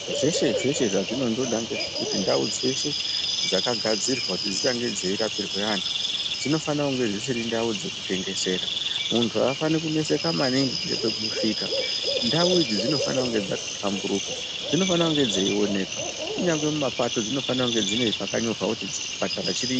Zveshe zveshe zvazvinondoda ngezvekuti ndau dzeshe dzakagadzirwa kuti dzichange dzei rapirwe antu dzinofanonge dzisiri ndau dzekutengesera muntu aafani kuneseka maningi ngepekusvika ndau idzi dzinofanonge dzakahlamburuka dzinofanonge dzeioneka kunyangwe mumapato dzinofanonge dzine pakanyorwa kuti chipatara chiri.